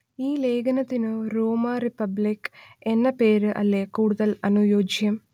ഈ ലേഗനത്തിനു റോമാ റിപ്പബ്ലിക്ക് എന്ന പേര് അല്ലേ കൂടുതൽ അനുയോജ്യം